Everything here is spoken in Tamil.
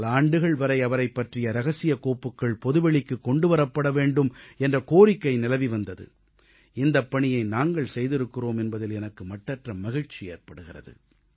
பல ஆண்டுகள் வரை அவரைப் பற்றிய இரகசிய கோப்புகள் பொதுவெளிக்குக் கொண்டுவரப்பட வேண்டும் என்ற கோரிக்கை நிலவி வந்தது இந்தப் பணியை நாங்கள் செய்திருக்கிறோம் என்பதில் எனக்கு மட்டற்ற மகிழ்ச்சி ஏற்படுகிறது